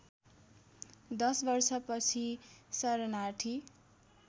दश वर्षपछि शरणार्थी